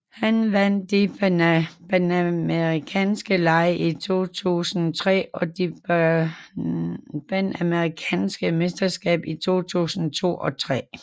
Han vandt de panamerikanske lege i 2003 og det panamerikanske mesterskab i 2002 og 2003